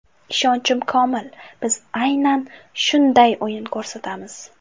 Ishonchim komil, biz aynan shunday o‘yin ko‘rsatamiz.